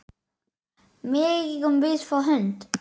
Megum við fá hund?